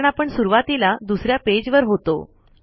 कारण आपण सुरवातीला दुसऱ्या पेज वर होतो